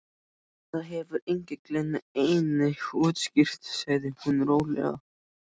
Þetta hefur engillinn einnig útskýrt sagði hún rólega.